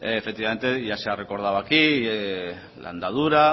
efectivamente ya se ha recordado aquí la andadura